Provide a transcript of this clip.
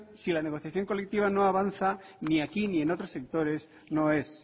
si la negociación colectiva no avanza ni aquí ni en otros sectores no es